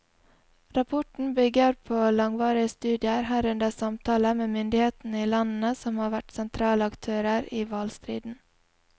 Rapporten bygger på langvarige studier, herunder samtaler med myndighetene i landene som har vært sentrale aktører i hvalstriden.